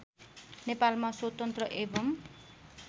नेपालमा स्वतन्त्र एवं